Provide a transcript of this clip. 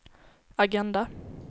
agenda